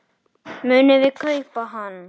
Munum við kaupa hann?